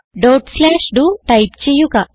dot slash ഡോ type ചെയ്യുക